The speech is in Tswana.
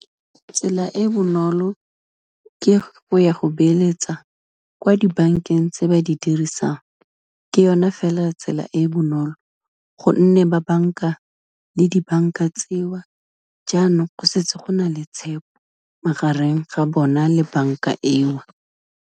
Tsela e e bonolo, ke go ya go beeletsa kwa dibankeng tse ba di dirisang, ke yone fela tsela e e bonolo gonne, ba banka le dibanka tseo jaanong go setse go na le tshepo magareng ga bona le banka eo.